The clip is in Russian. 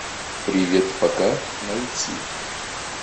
привет пока найти